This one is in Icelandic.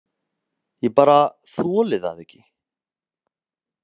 Ég bara þoli það ekki.